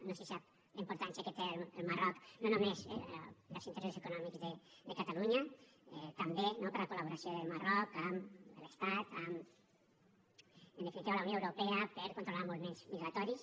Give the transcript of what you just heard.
no sé si sap la importància que té el marroc no només per als interessos econòmics de catalunya també no per la col·laboració del marroc amb l’estat amb en definitiva la unió europea per controlar moviments migratoris